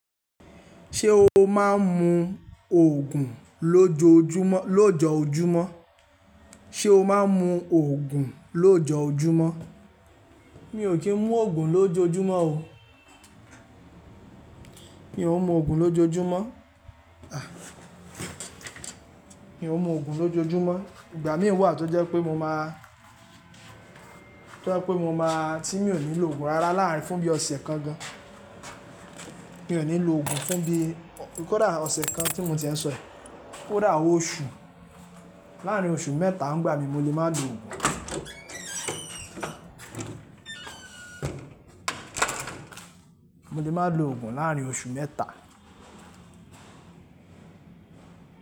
Ṣé o máa ń mu ògùn lójoójúmọ́? Sé o máa ń mu ògùn lójoójúmọ́? Mi ò kí ń mú ògùn lójoójúmọ́ o. Mi ò ń mu ògùn lójoójúmọ́. À! Mi ò ń mu ògùn lójoójúmọ́. Ìgbà mí wà tó jẹ́ pé mo máa, tó jẹ́ pé mo máa, tí mi ò ní lò ògùn rárá láàárín fún bí ọ̀sẹ̀ kan gan. Mi ò ní lò ògùn fún bí kódà ọ̀sẹ̀ kan tí mo ti ń sọ è, kódà oṣù. Láàárín oṣù mẹ́ta ńigbà mí mo lè má lo ògùn. Mo lè má lo ògùn láàárín oṣù mẹ́ta.